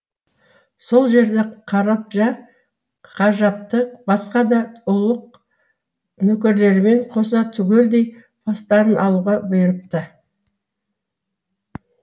сол жерде қараджа қажыпты басқа да ұлық нөкерлерімен қоса түгелдей бастарын алуға бұйырыпты